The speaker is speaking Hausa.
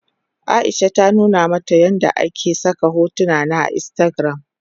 Aisha na nuna mata yadda ake saka hotuna a instagram.